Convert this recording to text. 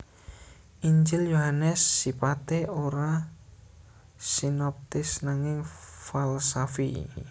Injil Yohanes sipaté ora sinoptis nanging falsafi